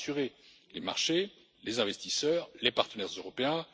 Cela rassurera les marchés, les investisseurs et les partenaires européens.